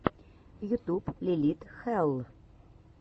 ютуб лилит хэлл